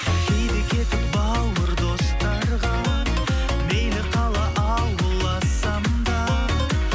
кейде кетіп бауыр достарға мейлі қала ауыл ассам да